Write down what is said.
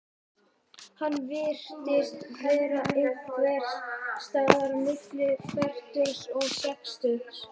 Hann virtist vera einhvers staðar milli fertugs og sextugs.